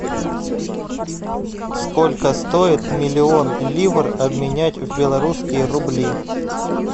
сколько стоит миллион ливр обменять в белорусские рубли